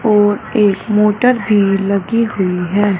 और एक मोटर भी लगी हुई है।